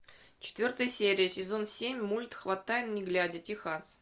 четвертая серия сезон семь мульт хватай не глядя техас